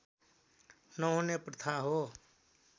नहुने प्रथा हो